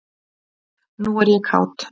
Nú er ég kát.